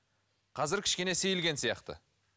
қазір кішкене сейілген сияқты